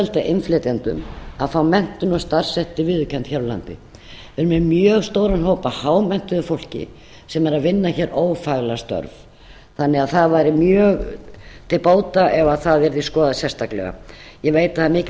hægt að auðvelda innflytjendum að fá menntun og starfsréttindi viðurkennd hér á landi við erum með mjög stóran hóp af hámenntuðu fólki sem er að vinna hér ófaglærð störf þannig að það væri mjög til bóta ef það yrði skoðað sérstaklega ég veit að það er mikil